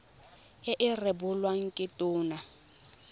e e rebolwang ke tona